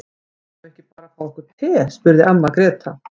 Eigum við ekki bara að fá okkur te, spurði amma Gréta.